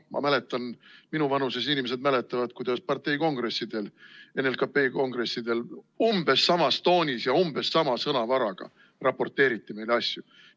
Ma mäletan ja ka teised minu vanuses inimesed mäletavad, kuidas parteikongressidel, NLKP kongressidel umbes sama tooni ja umbes sama sõnavara kasutades meile asju raporteeriti.